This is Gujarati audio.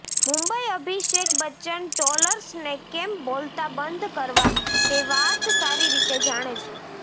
મુંબઈઃ અભિષેક બચ્ચન ટ્રોલર્સને કેમ બોલતા બંધ કરવા તે વાત સારી રીતે જાણે છે